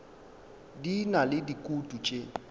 di na le dikutu tše